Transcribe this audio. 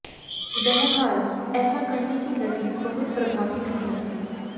बहरहाल ऐसा करने की दलील बहुत प्रभावी नहीं लगती